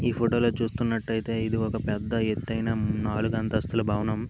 ఈ ఫోటో లో చూస్తున్నట్టయితే ఇది ఒక పెద్ద ఎత్తైన నాలుగంతస్థుల భవనం.